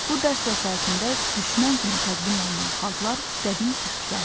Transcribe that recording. Bu dərs vəsaitində düşmən kimi təqdim olunan xalqlar qədim türklərdir.